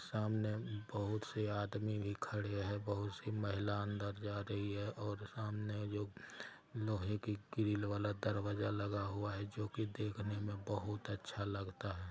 सामने बहुत से आदमी भी खड़े है| बहुत सी महिला अंदर जा रही है और सामने जो लोहे की कील वाला दरवाजा लगा हुआ है जो की देखने में बहुत अच्छा लगता है।